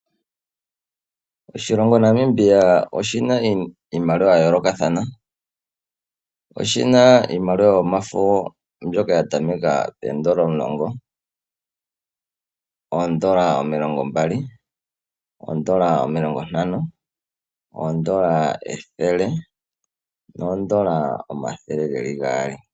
Oshilongo Namibia oshi na iimaliwa ya yoolokathana, sho oshi na iimaliwa yomafo mbyoka ya tameka poondola omulongo, omilongo mbali, omilongo ntano, ethele nosho wo oondola omathele gaali.